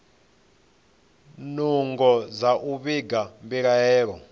nungo dza u vhiga mbilaelo